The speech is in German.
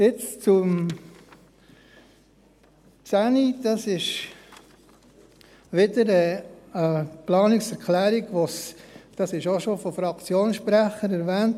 Nun zur Planungserklärung 10, dies wurde auch schon von Fraktionssprechern erwähnt: